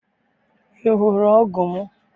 I hụrụ ọgụ m?